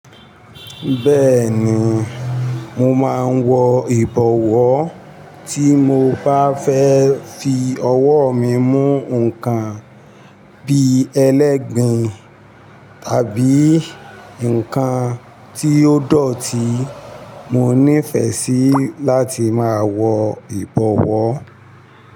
Bẹ́ẹ̀ni, mo máa ń wọ ìbọ̀wọ́ tí mo bá fẹ́ fi ọwọ́ mi mú nǹkan bí i ẹlẹ́gbin tàbí ǹkan tí ó dọ̀tí mo nífẹẹ sí láti máa wọ ìbọ̀wọ́